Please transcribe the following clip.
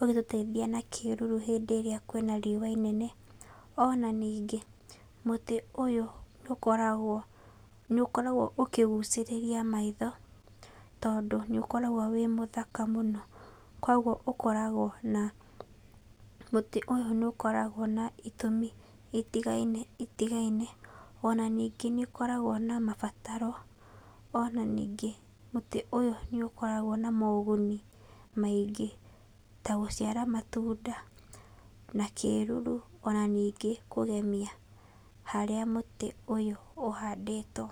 ũgĩtũteithia na kĩĩruru hĩndĩ ĩrĩa kwĩna riũa inene. Onaningĩ mũtĩ ũyũ nĩ ũkoragwo ũkĩgũcĩrĩria maitho, tondũ nĩ ũkoragwo wĩ-mũthaka mũno. Koguo ũkoragwo na, mũtĩ ũyũ nĩ ũkoragwo na itũmi itigaine, ona nĩngĩ nĩ ũkoragwo na mabataro, ona nĩngĩ mũtĩ ũyũ nĩ ũkoragwo moũguni maingĩ ta gũciara matunda, na kĩĩruru, ona ningĩ kũgemia harĩa mũtĩ ũyũ ũhandĩtwo.